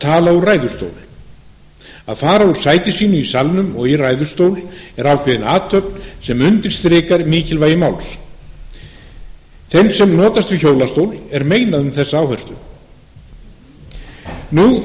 tala úr ræðustól að fara úr sæti sínu í salnum og í ræðustól er ákveðin athöfn sem undirstrikar mikilvægi máls þeim sem notast við hjólastól er meinað um þessa áherslu nú